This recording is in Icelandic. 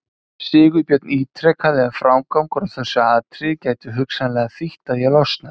Sigurbjörn ítrekaði að frágangur á þessu atriði gæti hugsanlega þýtt að ég losnaði.